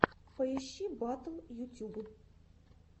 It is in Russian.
поищи батл ютюб